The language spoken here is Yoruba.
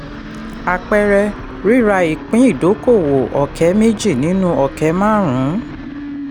àpẹẹrẹ: rírà ipín ìdókòwò ọ̀kẹ́ méjì nínú ọ̀kẹ́ márùn-ún.